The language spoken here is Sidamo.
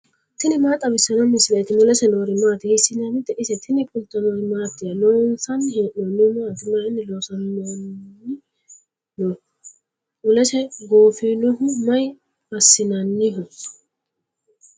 tini maa xawissanno misileeti ? mulese noori maati ? hiissinannite ise ? tini kultannori mattiya? Loonsanni hee'noonnihu maatti? mayiinni loosamminno noo? mulessi gooffinohu maa assinnanniho?